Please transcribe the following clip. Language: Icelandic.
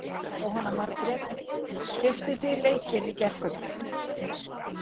Jóhanna Margrét: Keyptuð þið leikinn í gærkvöldi?